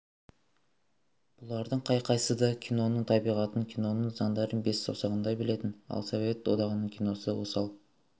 бұлардың қай-қайсысы да киноның табиғатын киноның заңдарын бес саусағындай білетін ал совет одағының киносы осал